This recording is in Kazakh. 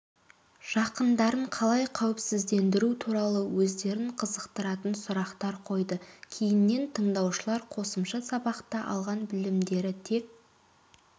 жақындарын қалай қауіпсіздендіру туралы өздерін қызықтыратын сұрақтар қойды кейіннен тыңдаушылар қосымша сабақта алған білімдері тек